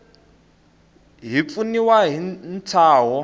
hi ku pfuniwa hi ntshaho